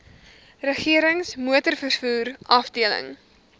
regerings motorvervoer afdeling